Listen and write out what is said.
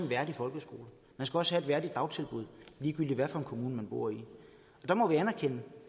værdig folkeskole man skal også have et værdigt dagtilbud ligegyldigt hvad for en kommune man bor i der må vi anerkende